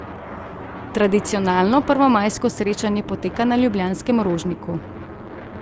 Tradicionalno prvomajsko srečanje poteka na ljubljanskem Rožniku.